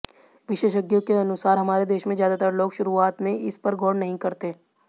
विशेषज्ञों के अनुसार हमारे देश में ज्यादातर लोग शुरुआत में इस पर गौर नहीं करते